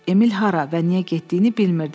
Emil hara və niyə getdiyini bilmirdi.